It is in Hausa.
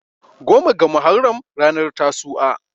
goma ga muharram ranar tasu"a